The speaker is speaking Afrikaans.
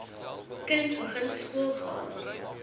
kind begin skoolgaan